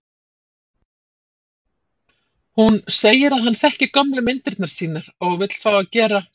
Hún segir að hann þekki gömlu myndirnar sínar og vill fá að gera